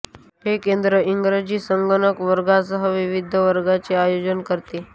हे केंद्र इंग्रजी आणि संगणक वर्गांसह विविध वर्गांचे आयोजन करते